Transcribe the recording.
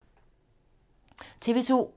TV 2